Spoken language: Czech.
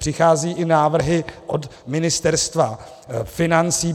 Přicházejí i návrhy od Ministerstva financí.